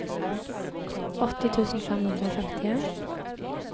åtti tusen fem hundre og femtien